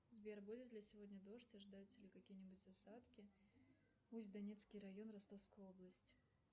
сбер будет ли сегодня дождь ожидаются ли какие нибудь осадки усть донецкий район ростовская область